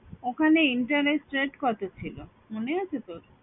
ওখানে interest rate কত ছিল মনে আছে তোর?